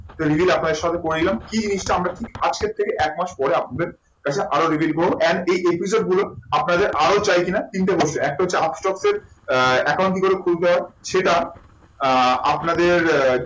তাই release আপনাদের সাথে করে নিলাম। এই জিনিসটা আমরা কি আজকের থেকে এক মাস পরে আপনাদের কাছে আরো reveal করবো and এই episode গুলো আপনাদের আরো চাই কি না? তিনটের মধ্যে একটা হচ্ছে দের আহ একাউন্ট কি করে খুলতে হয় সেটা আহ আপনাদের